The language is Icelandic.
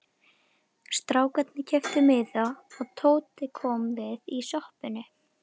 Strákarnir keyptu miða og Tóti kom við í sjoppunni.